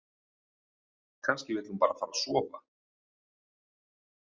Kannski vill hún bara fara að sofa.